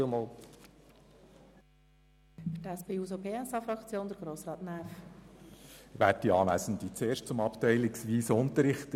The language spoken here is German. Für die SP-JUSO-PSA-Fraktion hat Grossrat Näf das Wort.